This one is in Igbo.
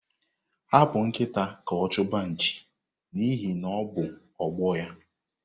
Hapụ nkịta ka ọ chụba nchi n'ihi na ọ bụ ọgbọ ya.